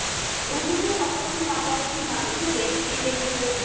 Youtube এ কত রকম রান্না দেখি মাংসের recipe দেখি